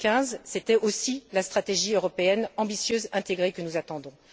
2015. C'était aussi la stratégie européenne ambitieuse intégrée que nous attendons.